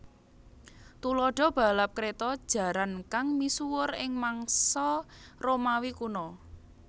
Thuladha balap kreta jarankang misuwur ing mangsa Romawi kuno